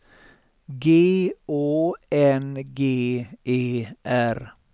G Å N G E R